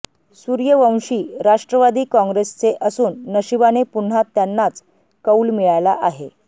सूर्यवंशी राष्ट्रवादी काँग्रेसचे असून नशिबाने पुन्हा त्यांनाच कौल मिळाला आहे